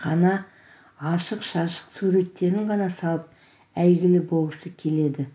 қана ашық-шашық суреттерін ғана салып әйгілі болғысы келеді